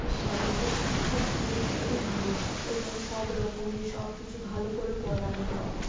এটি সাধারণত শিক্ষার জন্য খুবই ভালো এখানে সব রকমের সবকিছু ভালো করে পড়ানো হয়।